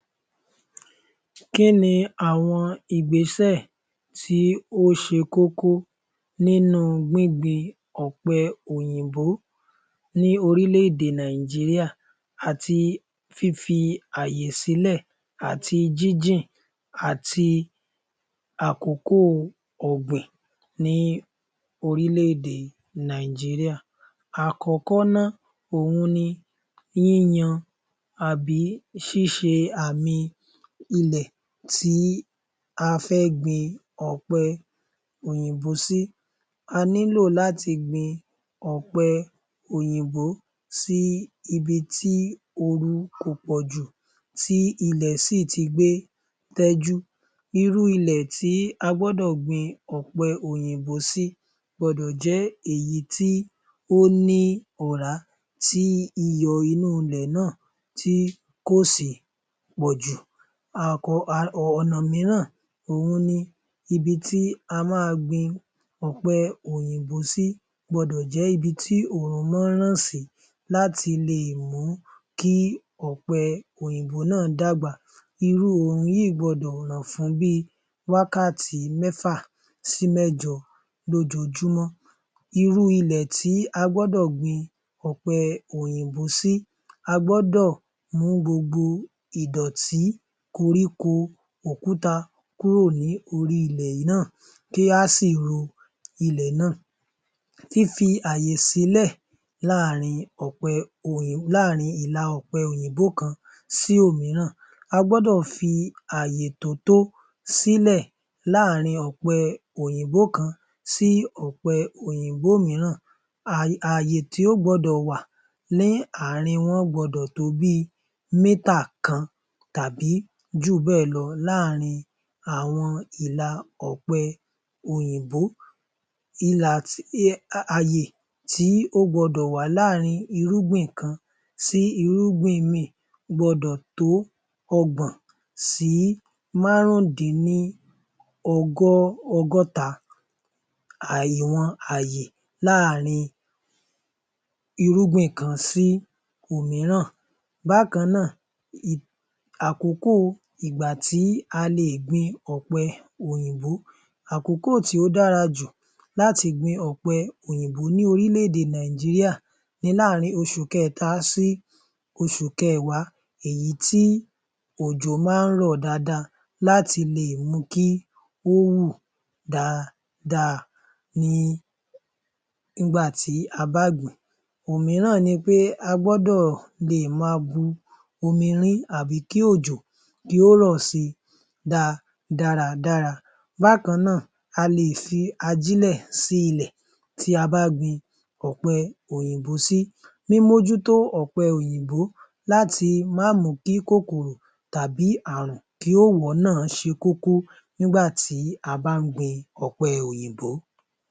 Kín ni àwọn ìgbésẹ̀ tó ṣe kókó nínú gbíngbin àwọn ọ̀pẹ òyìnbó ní orílẹ̀ _èdè Nàìjíríà àti fífẹ̀ àti jínjìn àti àkókò ọ̀gbìn ní orílẹ̀ - èdè Nàìjíríà? Àkọ́kọ́ ná òhun ni yíyan tàbí ṣíṣe àmì ilẹ̀ ta fẹ́ gbin ọ̀pẹ òyìnbó sí. A nílò láti gbin ọ̀pẹ òyìnbó sí ibi tí oorun kò pọ̀jù tí ilẹ̀ sì ti gbé tẹ́jú, irú ilẹ̀ tí a gbọ́dọ̀ gbin ọ̀pẹ òyìnbó sí gbọdọ̀ jẹ́ èyí tí ó ní ọ̀rá tí iyọ̀ inú ilẹ̀ náà kò sì pọ̀jù. Ọ̀nà mìíràn ni ibi tí a máa gbin ọ̀pẹ òyìnbó sí gbọ́dọ̀ jẹ́ ibi tí oòrùn máa ń ràn sí láti lè mú kí ọ̀pẹ òyìnbó náà dàgbà, irú oòrùn yìí gbọdọ̀ lè ràn ní wákàtí mẹ́fà sí wákàtí mẹ́jọ ní ojoojúmọ́. Irú ilẹ̀ tí a gbọdọ̀ gbin ọ̀pẹ òyìnbó sí a gbọ́dọ̀ mú gbogbo ìdọ̀tí, koríko, òkúta kúrò ní orí ilẹ̀ náà kí á sì ro ilẹ̀ náà. Fífi ààyè sílẹ̀ láàárín láàárín ilà ọ̀pẹ òyìnbó kan sí òmíràn, a gbọ́dọ̀ fi ààyè tó tó sílẹ̀ láàárín ọ̀pẹ òyìnbó kan sí ọ̀pẹ òyìnbó mìíràn ààyè tí ó gbọdọ̀ wà ó gbọdọ̀ tó bi mítà kan tàbí jù bẹ́ẹ̀ lọ láàárín ọ̀pẹ òyìnbó, ilà ààyè tí ó gbọdọ̀ wà láàárín irúgbìn kan sí irúgbìn míì gbọdọ̀ tó ọgbọ̀n sí márùndín ní ọgọ́ ọgọ́ta ààyè wọn ààyè láàárín irúgbìn kan sí òmíràn. Bákan náà àkókò ìgbà tí a lè gbin ọ̀pẹ òyìnbó, àkókò tí ó dára jù láti gbin ọ̀pẹ òyìnbó ní orílẹ̀- èdè Nàìjíríà ni láàárín oṣù kẹta sí oṣù kẹwàá èyí tí òjò má ń rọ̀ dáadáa láti lè mu kí ó hù dáadáa ní ìgbà tí a bá gbìn - ín. Òmíràn ni pé a gbọ́dọ̀ lè máa bu omi rin-ín tàbí kí òjò kí ó rọ̀ si dáa dáradára. Bákan a lè fi ajílẹ̀ sí ilẹ̀ tí a bá gbin ọ̀pẹ òyìnbó sí, mímọ́jútó ọ̀pẹ òyìnbó láti má mù ú kí kòkòrò tàbí àrùn kí ó wọ̀ ọ́ ná ṣe kókó nígbà tí a bá ń gbin ọ̀pẹ òyìnbó.